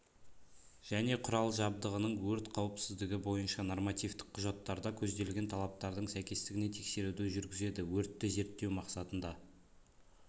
және құрал-жабдығының өрт қауіпсіздігі бойынша нормативтік құжаттарда көзделген талаптардың сәйкестігіне тексеруді жүргізеді өртті зерттеу мақсатында